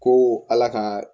Ko ala ka